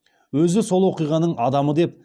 өзі сол оқиғаның адамы деп